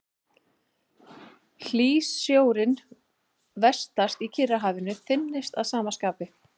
Hlýsjórinn vestast í Kyrrahafinu þynnist að sama skapi.